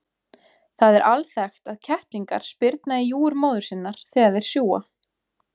Það er alþekkt að kettlingar spyrna í júgur móður sinnar þegar þeir sjúga.